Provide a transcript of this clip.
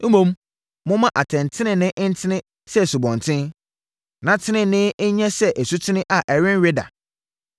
Mmom, momma atɛntenenee ntene sɛ asubɔnten, na tenenee nyɛ sɛ asutene a ɛrenwe da!